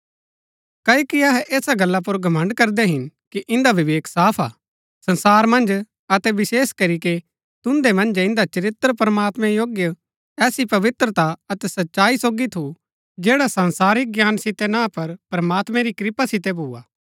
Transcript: क्ओकि अहै ऐसा गल्ला पुर घमण्ड़ करदै हिन कि इन्दा विवेक साफ हा संसार मन्ज अतै विशेष करीके तुन्दै मन्जै इन्दा चरित्र प्रमात्मैं योग्य ऐसी पवित्रता अतै सच्चाई सोगी थु जैडा संसारिक ज्ञान सितै ना पर प्रमात्मैं री कृपा सितै भुआ